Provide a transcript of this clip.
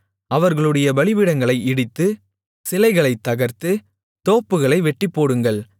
அவர்களுடைய பலிபீடங்களை இடித்து சிலைகளைத் தகர்த்து தோப்புகளை வெட்டிப்போடுங்கள்